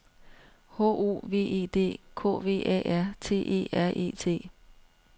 H O V E D K V A R T E R E T